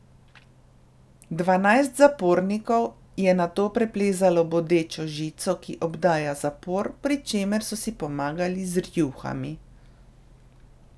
Dvanajst zapornikov je nato preplezalo bodečo žico, ki obdaja zapor, pri čemer so si pomagali z rjuhami.